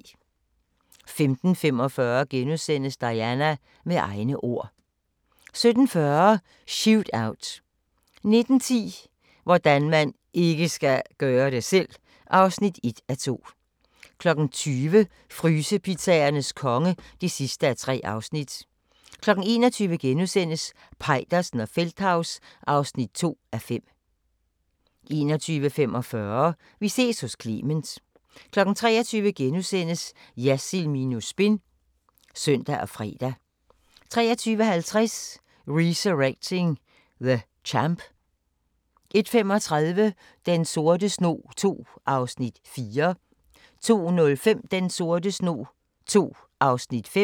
15:45: Diana - med egne ord * 17:40: Shootout 19:10: Hvordan man IKKE skal gøre det selv! (1:2) 20:00: Frysepizzaernes konge (3:3) 21:00: Peitersen og Feldthaus (2:5)* 21:45: Vi ses hos Clement 23:00: Jersild minus spin *(søn og fre) 23:50: Resurrecting the Champ 01:35: Den sorte snog II (4:6) 02:05: Den sorte snog II (5:6)